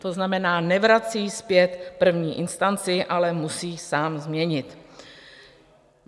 To znamená, nevrací zpět první instanci, ale musí sám změnit.